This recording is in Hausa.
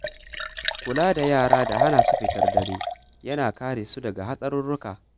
Kula da yara da hana su fitar dare yana kare su daga hatsarurruka.